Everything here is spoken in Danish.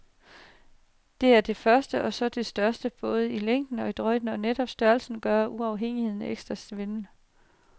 Det er det første og også det største, både i længden og i drøjden, og netop størrelsen gør uafhængigheden ekstra svimlende.